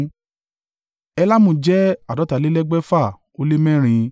Elamu jẹ́ àádọ́ta lé lẹ́gbẹ̀fà ó lé mẹ́rin (1,254)